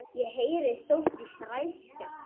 Ég heyrði Sóldísi ræskja sig.